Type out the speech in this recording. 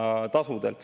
Aitäh, auväärt juhataja!